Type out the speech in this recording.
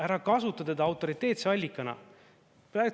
Ära kasuta teda autoriteetse allikana!